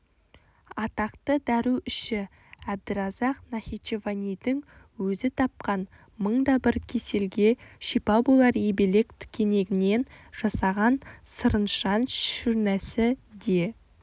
атақты дәруіші әбдіразақ нахичеванидің өзі тапқан мың да бір кеселге шипа болар ебелек тікенегінен жасаған сырыншан шурнәсі де